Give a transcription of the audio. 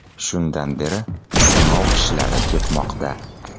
Shundan beri sinov ishlari ketmoqda.